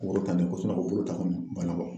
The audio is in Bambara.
Ko woro ta nin ko ko bolo ta kɔni ma nɔgɔ.